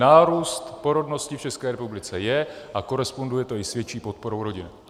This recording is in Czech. Nárůst porodnosti v České republice je a koresponduje to i s větší podporou rodiny.